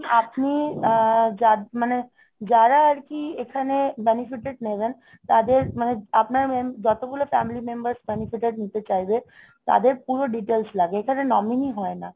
আপনি আহ মানে যারা আর কি এখানে benefited নেবেন তাদের মানে আপনার যতগুলো family member benefited নিতে চাইবে তাদের পুরো details লাগে এখানে nominee হয় না